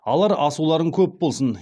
алар асуларың көп болсын